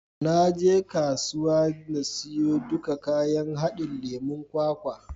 Na je kasuwa na siyo duka kayan haɗin lemon kwakwa.